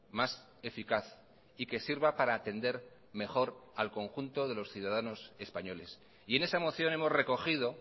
más eficaz y que sirva para atender mejor al conjunto de los ciudadanos españoles y en esa moción hemos recogido